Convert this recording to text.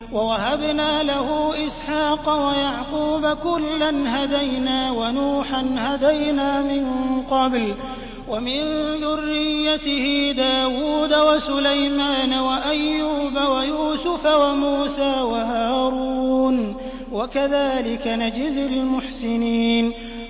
وَوَهَبْنَا لَهُ إِسْحَاقَ وَيَعْقُوبَ ۚ كُلًّا هَدَيْنَا ۚ وَنُوحًا هَدَيْنَا مِن قَبْلُ ۖ وَمِن ذُرِّيَّتِهِ دَاوُودَ وَسُلَيْمَانَ وَأَيُّوبَ وَيُوسُفَ وَمُوسَىٰ وَهَارُونَ ۚ وَكَذَٰلِكَ نَجْزِي الْمُحْسِنِينَ